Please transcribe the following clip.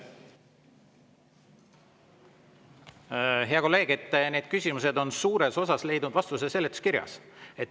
Hea kolleeg, need küsimused on suures osas leidnud vastuse seletuskirjas.